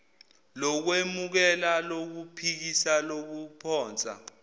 lokwemukela lokuphikisa lokuphonsa